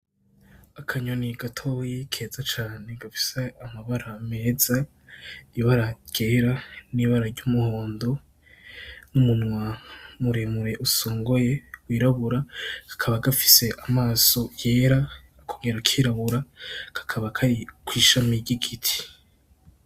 Akanyoni gatoyi keza cane. Gafise amabara meza. Ibara ryera, n'ibara ry'umuhondo, n'umunwa muremure usongoye wirabura. Kakaba gafise amaso yera akongera akirabura, kakaba kari kw'ishami ry'igiti.